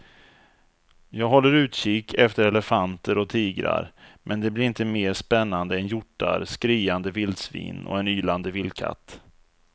Jag håller utkik efter elefanter och tigrar men det blir inte mer spännande än hjortar, skriande vildsvin och en ylande vildkatt.